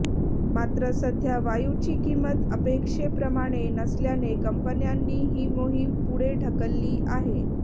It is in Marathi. मात्र सध्या वायुची किंमत अपेक्षेप्रमाणे नसल्याने कंपन्यांनी ही मोहीम पुढे ढकलली आहे